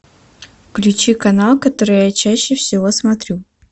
включи канал который я чаще всего смотрю